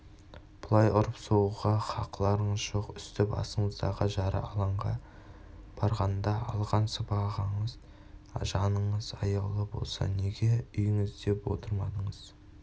бұлай ұрып-соғуға хақыларыңыз жоқ үсті-басыңыздағы жара алаңға барғанда алған сыбағаңыз жаныңыз аяулы болса неге үйіңізде отырмадыңыз